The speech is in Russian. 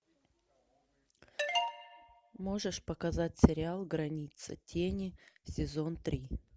можешь показать сериал граница тени сезон три